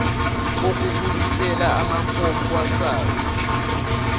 kokubuyisela amafomu kwasars